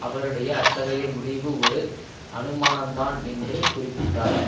அவருடைய அத்தகைய முடிவு ஒரு அனுமானம்தான் என்று கூறிப்பிட்டார்